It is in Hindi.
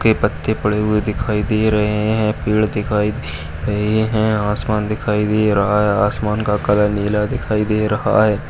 सूखे पत्ते पड़े हुए दिखाई दे रहे हैं। पेड़ दिखाई दे रहे हैं। आसमान दिखाई दे रहा है। आसमान का कलर नीला दिखाई दे रहा है।